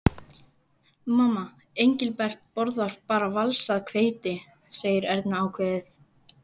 Mamma, Engilbert borðar bara valsað hveiti, segir Erna ákveðið.